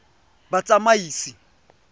batsamaisi